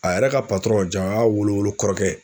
A yɛrɛ ka ja o y'a wolo wolo kɔrɔkɛ ye